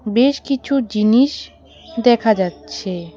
বেশ কিছু জিনিস দেখা যাচ্ছে।